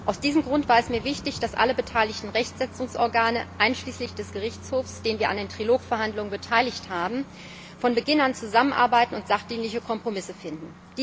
Aus diesem Grund war es mir wichtig, dass alle beteiligten Rechtsetzungsorgane einschließlich des Gerichtshofs, den wir an den Trilogverhandlungen beteiligt haben von Beginn an zusammenarbeiten und sachdienliche Kompromisse finden.